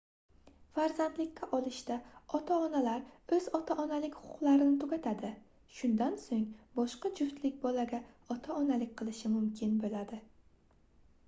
farzandlikka olishda ota-onalar oʻz ota-onalik huquqlarini tugatadi shundan soʻng boshqa juftlik bolaga ota-onalik qilishi mumkin boʻladi